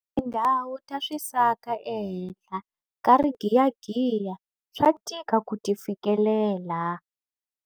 Tindhawu ta swisaka ehenhla ka rigiyagiya swa tika ku ti fikelela.